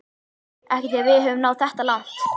Ekki þegar við höfum náð þetta langt